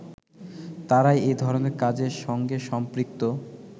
তারাই এ-ধরনের কাজের সঙ্গে সম্পৃক্ত